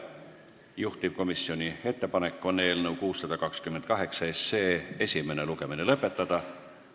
Juhtivkomisjoni ettepanek on eelnõu 628 esimene lugemine lõpetada.